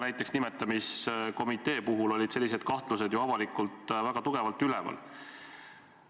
Näiteks ka nimetamiskomitee puhul olid sellised kahtlused avalikkuses väga tugevalt üleval.